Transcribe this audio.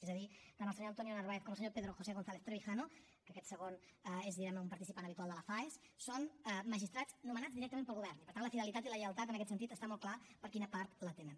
és a dir tant el senyor antonio narváez com el senyor pedro josé gonzález trevijano que aquest segon és diguem ne un participant habitual de la faes són magistrats nomenats directament pel govern i per tant la fidelitat i la lleialtat en aquest sentit està molt clar per quina part la tenen